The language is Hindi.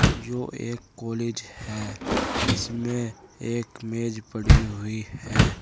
यो एक कॉलेज है। इसमें एक मेज पड़ी हुई है।